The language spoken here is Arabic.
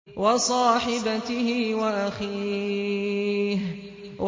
وَصَاحِبَتِهِ وَأَخِيهِ